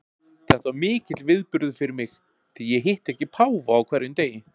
Þetta var mikill viðburður fyrir mig, því ég hitti ekki páfa á hverjum degi.